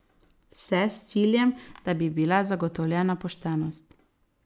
Vse s ciljem, da bi bila zagotovljena poštenost.